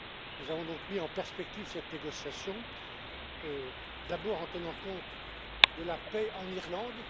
Nous avons donc mis en perspective cette négociation, d'abord en tenant compte de la paix en Irlande.